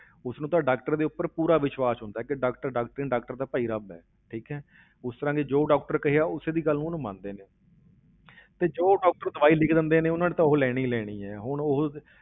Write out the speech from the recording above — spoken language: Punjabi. ਉਸ ਨੂੰ ਤਾਂ doctor ਦੇ ਉੱਪਰ ਪੂਰਾ ਵਿਸ਼ਵਾਸ ਹੁੰਦਾ ਹੈ ਕਿ doctor doctor ਨੀ doctor ਤਾਂ ਭਾਈ ਰੱਬ ਹੈ, ਠੀਕ ਹੈ ਉਸ ਤਰ੍ਹਾਂ ਦੇ ਜੋ doctor ਕਹਿਆ ਉਸੇ ਦੀ ਗੱਲ ਨੂੰ ਉਹਨੂੰ ਮੰਨਦੇ ਨੇ ਤੇ ਜੋ doctor ਦਵਾਈ ਲਿਖ ਦਿੰਦੇ ਨੇ, ਉਹਨਾਂ ਨੇ ਤਾਂ ਉਹ ਲੈਣੀ ਹੀ ਲੈਣੀ ਹੈ, ਹੁਣ ਉਹ